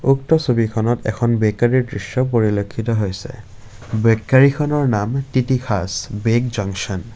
উক্ত ছবিখনত এখন বেকাৰীৰ দৃশ্য পৰিলক্ষিত হৈছে বেকাৰীখনৰ নাম তিতিখাছ বেক জংচন ।